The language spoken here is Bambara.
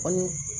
Kɔni